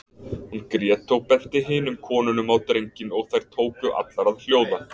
Hún grét og benti hinum konunum á drenginn og þær tóku allar að hljóða.